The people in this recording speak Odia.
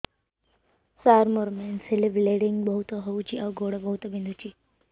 ସାର ମୋର ମେନ୍ସେସ ହେଲେ ବ୍ଲିଡ଼ିଙ୍ଗ ବହୁତ ହଉଚି ଆଉ ଗୋଡ ବହୁତ ବିନ୍ଧୁଚି